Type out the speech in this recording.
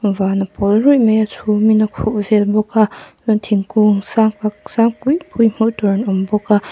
van a pawl ruih mai a chhum in a khuh vel bawk a chuan thingkung sak tak sang pui pui hmuh tur an awm bawk a.